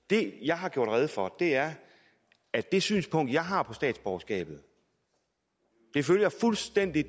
det jeg har gjort rede for er at det synspunkt jeg har om statsborgerskabet fuldstændig